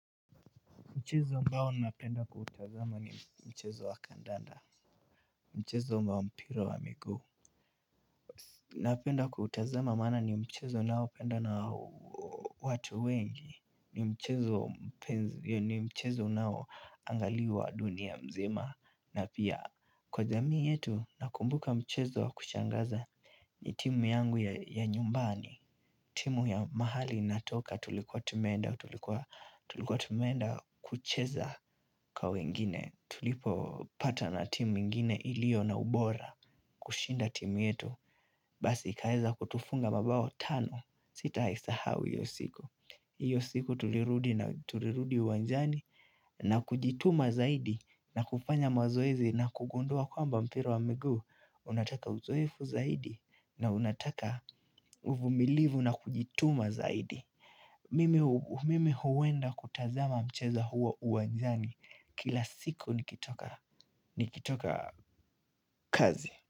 Mchezo ambao napenda kuutazama ni mchezo wa kandanda Mchezo wa mpira wa miguu Napenda kuutazama maana ni mchezo unaopendwa na watu wengi ni mchezo unao angaliwa dunia mzima na pia kwa jamii yetu nakumbuka mchezo wa kushangaza ni timu yangu ya nyumbani, timu ya mahali natoka tulikuwa tumeenda, tulikuwa tumeenda kucheza kwa wengine, tulipo patana na timu ingine iliyo na ubora kushinda timu yetu, basi ikaweza kutufunga mabao tano, sitaisahao hiyo siku. Hiyo siku tulirudi na tulirudi uwanjani na kujituma zaidi na kufanya mazoezi na kugundua kwamba mpira wa miguu. Unataka uzoefu zaidi na unataka uvumilivu na kujituma zaidi. Mimi huenda kutazama mcheza huo uwanjani kila siku nikitoka kazi.